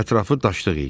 Ətrafı daşlıq idi.